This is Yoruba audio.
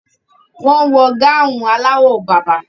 Wọ́n wọ gáhùn aláwọ̀ bàbà.